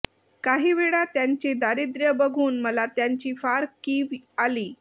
काही वेळा त्यांचे दारिद्र्य बघून मला त्यांची फार कीव आली